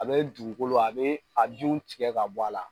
A bɛ dugukolo a be a denw tigɛ ka bɔ a la